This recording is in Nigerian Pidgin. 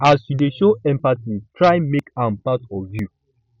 as yu dey show empathy try mek am part of yu